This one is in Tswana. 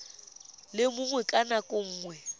le mongwe ka nako nngwe